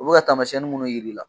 U bi ka tamasiyɛnnin minnu jir'i la.